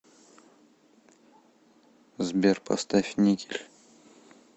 сбер поставь никель